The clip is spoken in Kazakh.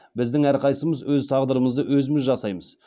біздің әрқайсымыз өз тағдырымызды өзіміз жасаймыз